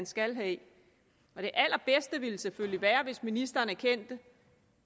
skal have og det allerbedste ville selvfølgelig være hvis ministeren erkendte